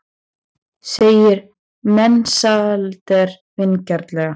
segir Mensalder vingjarnlega.